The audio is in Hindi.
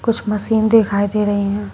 कुछ मशीन दिखाई दे रही हैं।